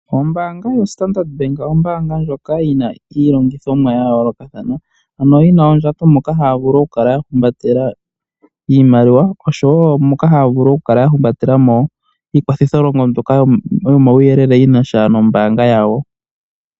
Ombaanga yaStandard Bank ombaanga ndjoka yina iilongithonwa yayoolokathana ano yina oondjato moka hayavulu okukala yahumbatela iimaliwa osho wo moka haya vulu okukala yahumbatelamo iikwathitho longo mbyoka yinasha nomawuyelele gombaanga yawo.